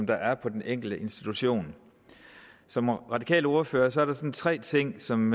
der er på den enkelte institution som radikal ordfører er der sådan tre ting som